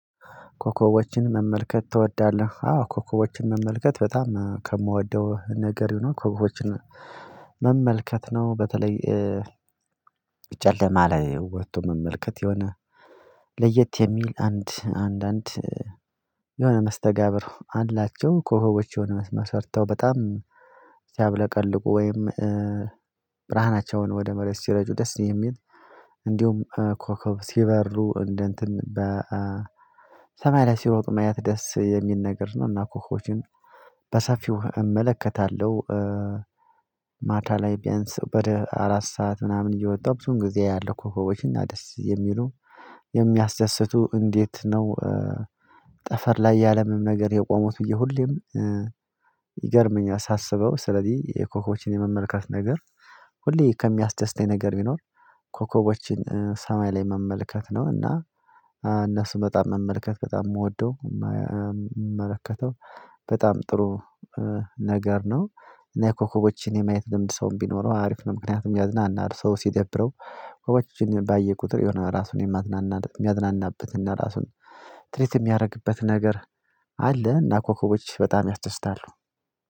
ኮከቦችን መመልከት ትወዳለህ? አዎ ኮከቦችን መመልከት በጣም ከምወደው ነገር ዩ ኖው ኮከቦችን መመልከት ነው። በተለይ ጨለማ ላይ ወጥቶ መመልከት የሆነ ለየት የሚል አንድ አንዳንድ የሆነ መስተጋብር አላቸው ኮከቦች የሆነ መስመር ሰርተው በጣም ሲያብለቀልቁ ወይም ብርሃናቸውን ወደ መሬት ሲረጩ ደስ የሚል እንዲሁም ኮከብ ሲበሩ እንደ እንትን በሰማያ ላይ ሲሮጡ ማየት ደስ የሚል ነገር ነው። እና ኮከቦችን በሰፊው እመለከታለሁ ማታ ላይ ቢያንስ ወደ አራት ሰዓት ምናምን እየወጣሁ ብዙን ጊዜ አያለው ኮከቦችን እና ደስ የሚሉ የሚያስደስቱ እንዴት ነው? ጠፈር ላይ ያለ ምንም ነገር የቆሙት ብዬ ሁሌም ይገርመኛል። ሳስበው ስለዚህ የኮከቦችን የመመልከት ነገር ሁሌ ከሚያስደስተኝ ነገር ቢኖር ኮከቦችን ሰማይ ላይ መመልከት ነው። እና እነሱ በጣም መመልከት በጣም የምወደው በጣም ጥሩ ነገር ነው እና የኮከቦችን የማየት ልምድ ሰውም ቢኖረው አሪፍ ነው። ምክንያቱም ያዝናናል ሰው ሲደብረው ኮከቦችን ባየ ቁጥር የሆነ ራሱን የማዝናናት የሚያዝናናበትና ራሱን ትሪት የሚያደርግበት ነገር አለ። እና ኮከቦች በጣም ያስደስታሉ።